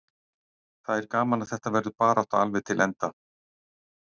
Það er gaman að þetta verður barátta alveg til enda.